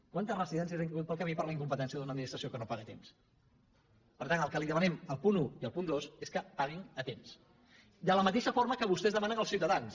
quantes residències han caigut pel camí per la incompetència d’una administració que no paga a temps per tant el que li demanem al punt un i al punt dos és que paguin a temps de la mateixa forma que vostès demanen als ciutadans